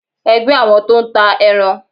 ẹgbẹ àwọn tó n tà erán